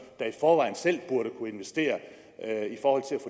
der i forvejen selv burde kunne investere